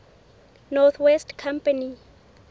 north west company